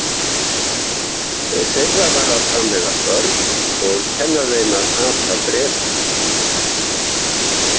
Þeirra var að framleiða börn og kenna þeim að hata Breta.